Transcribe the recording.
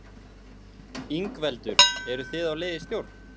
Ingveldur: Eru þið á leið í stjórn?